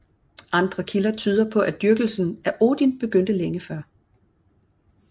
Andre kilder tyder på at dyrkelsen af Odin begyndte længe før